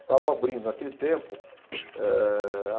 Estavam abrindo, naquele tempo eh.